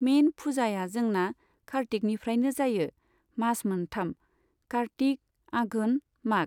मेइन फुजाया जोंना कार्तिकनिफ्रायनो जायो मास मोनथाम, कार्तिक, आघोन, माघ।